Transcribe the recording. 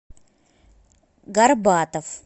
горбатов